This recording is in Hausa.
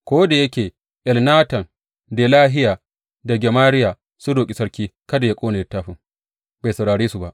Ko da yake Elnatan, Delahiya da Gemariya sun roƙi sarki kada yă ƙone littafin, bai saurare su ba.